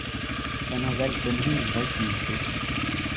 Han har valgt den helt rigtige klub.